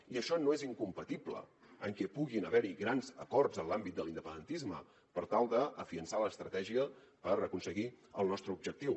i això no és incompatible amb que pugui haver hi grans acords en l’àmbit de l’independentisme per tal de fiançar l’estratègia per aconseguir el nostre objectiu